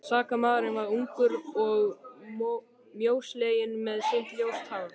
Sakamaðurinn var ungur og mjósleginn með sítt ljóst hár.